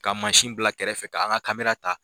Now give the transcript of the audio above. Ka bila kɛrɛfɛ fɛ ka an ga ta